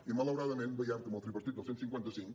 i malauradament veiem com el tripartit del cent i cinquanta cinc